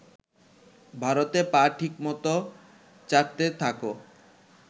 ভারতে পা ঠিকমত চাটতে থাকো।